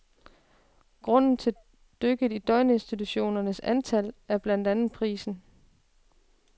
Grunden til dykket i døgninstitutionernes antal er blandt andet prisen.